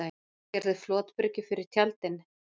Gerði flotbryggju fyrir tjaldinn